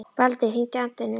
Baldur, hringdu í Atenu.